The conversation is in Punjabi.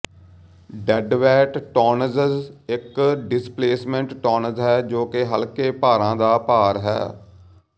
ਡੈੱਡਵੇਟ ਟੋਨਜਜ ਇਕ ਡਿਸਪਲੇਸਮੈਂਟ ਟੋਨਜ ਹੈ ਜੋ ਕਿ ਹਲਕੇ ਭਾਰਾਂ ਦਾ ਭਾਰ ਹੈ